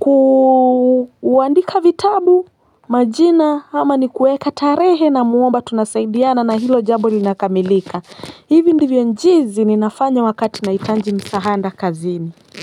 ku kuandika vitabu majina ama ni kuweka tarehe namuomba tunasaidiana na hilo jambo linakamilika hivi ndivyo jinsi ninafanya wakati nahitaji msaada kazini.